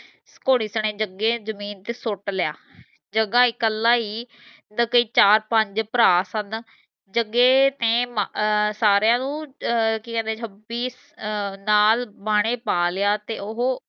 ਘੋੜੀ ਸਨੇ ਜਗੇ ਜਮੀਨ ਤੇ ਸੁੱਟ ਲਿਆ ਜਗਾ ਇਕੱਲਾ ਹੀ ਨਾ ਕੋਈ ਚਾਰ ਪੰਜ ਭਰਾ ਸਨ ਜਗੇ ਨੇ ਅਹ ਸਾਰੀਆਂ ਨੂੰ ਕਿ ਕਹਿੰਦੇ ਹੈ ਅਹ ਨਾਲੇ ਬਾਨੇ ਪਾ ਲਿਆ ਤੇ ਉਹ